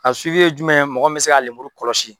A ye jumɛn ye mɔgɔ bɛ se ka lemuru kɔlɔsi.